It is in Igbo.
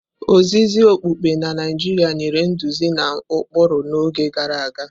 Ozizi okpukpe na Naijiria nyere nduzi na ụkpụrụ n'oge gara aga.